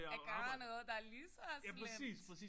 At gøre noget der er lige så slemt